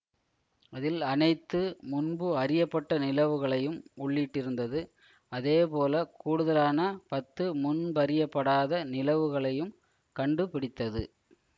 அதில் அனைத்து முன்பு அறியப்பட்ட நிலவுகளையும் உள்ளிட்டிருந்தது அதே போல கூடுதலான பத்து முன்பறியப்படாத நிலவுகளையும் கண்டு பிடித்தது